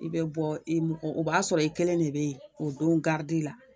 I bɛ bɔ i o b'a sɔrɔ i kelen de be yen o don garidi la